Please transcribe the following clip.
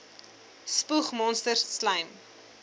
spoeg monsters slym